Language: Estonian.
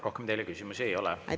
Rohkem teile küsimusi ei ole.